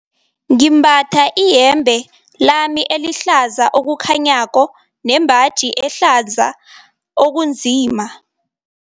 Ngimbatha iyembe lami elihlaza okukhanyako nembaji ehlaza okunzima.